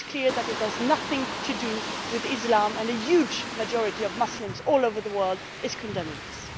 It is clear that it has nothing to do with Islam, and a huge majority of Muslims all over the world are condemning it.